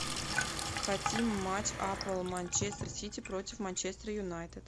хотим матч апл манчестер сити против манчестер юнайтед